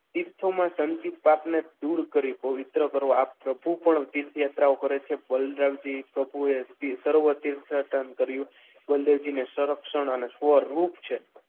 તીર્થો તીર્થોમાં સંદિગ્ધતાપને દૂર કરીને પવિત્ર કરવા પ્રભુ પણ તીર્થયાત્રા ઉપર છે બલરામજી સર્વ તીર્થ યાત્રા કર્યું બળદેવજી ને સંરક્ષણ અને સ્વરૂપ છે.